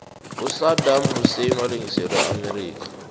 usadam husein walengiselwa eamerica